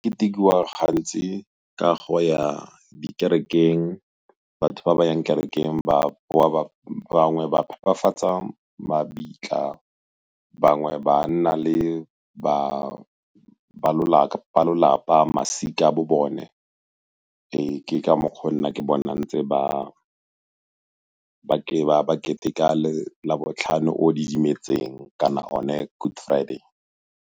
Ketekiwa gantsi ka go ya di kerekeng, batho ba ba yang kerekeng ba boa, bangwe ba phepafatsa mabitla, bangwe ba nna le ba lolapa, masika a bo bone. Ee, ke ka mokgwa o nna ke bona ntse ba keteka labotlhano o o didimetseng kana one good friday.